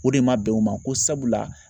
O de ma bɛn u ma ko sabula